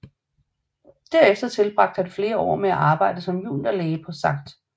Derefter tilbragte han flere år med at arbejde som juniorlæge på St